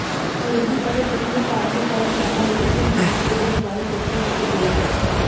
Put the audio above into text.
ਪੂਰਬੀ ਅਤੇ ਪੱਛਮੀ ਧਾਰਮਿਕ ਪਰੰਪਰਾਵਾਂ ਵਿਚ ਤਿੰਨ ਗੁਣਾ ਕੁਦਰਤ ਬਾਰੇ ਚਰਚਾ ਕੀਤੀ ਗਈ ਹੈ